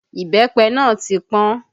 Ìbẹ́pẹ náà ti pọn